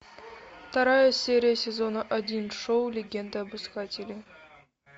вторая серия сезона один шоу легенда об искателе